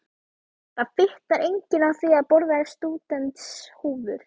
Það fitnar enginn á því að borða stúdentshúfur!